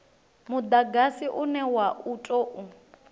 mudagasi une wa u tou